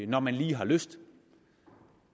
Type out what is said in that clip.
når man lige har lyst